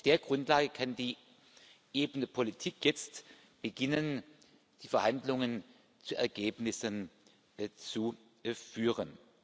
Auf der Grundlage kann die Ebene Politik jetzt beginnen, die Verhandlungen zu Ergebnissen zu führen.